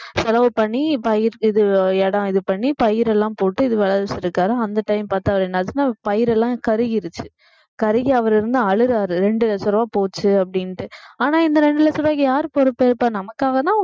செலவு பண்ணி பயிர் இது இடம் இது பண்ணி பயிர் எல்லாம் போட்டு இது விளைவிச்சிருக்காரு அந்த time பார்த்து அவர் என்னாச்சுன்னா பயிர் எல்லாம் கருகிருச்சு கருகி அவர் இருந்து அழுறாரு ரெண்டு லட்ச ரூபாய் போச்சு அப்படின்ட்டு ஆனா இந்த ரெண்டு லட்ச ரூபாய்க்கு யாரு பொறுப்பேற்பா நமக்காகதான்